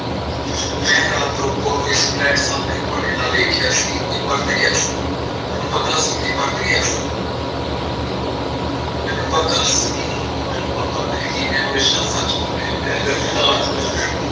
ਮੈਂ ਰਾਤ ਰੂਪੋ ਨੂੰ ਇਸ flat ਸਾਹਮਣੇ ਤੁਹਾਡੇ ਨਾਲ ਵੇਖਿਆ ਸੀ ਤੇ ਪਰਤ ਗਿਆ ਸੀ ਮੈਨੂੰ ਪਤਾ ਸੀ ਤੇ ਪਰਤ ਗਿਆ ਸਾਂ। ਮੈਨੂੰ ਪਤਾ ਸੀ ਰੂਪੋ ਮੈਨੂੰ ਮਰਵਾਦੇਗੀ ਮੈਂ ਹਮੇਸ਼ਾ ਸੱਚ ਬੋਲਿਆ